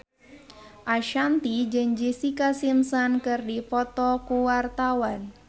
Ashanti jeung Jessica Simpson keur dipoto ku wartawan